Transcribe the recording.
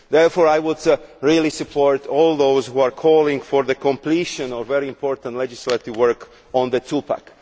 Therefore, I strongly support all those who are calling for the completion of very important legislative work on the two pack.